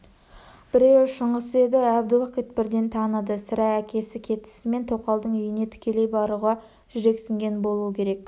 біреуі шыңғыс еді әбдіуақит бірден таныды сірә әкесі кетісімен тоқалдың үйіне тікелей баруға жүрексінген болуы керек